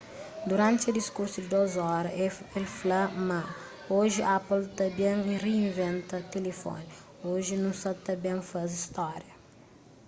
duranti se diskursu di 2 óra el fla ma oji apple sa ta ben rinventa tilifoni oji nu sa ta ben faze stória